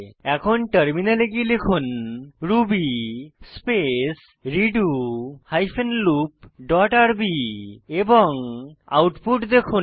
এখন টার্মিনালে গিয়ে লিখুন Ruby space redo hyphen loop dot r b এবং আউটপুট দেখুন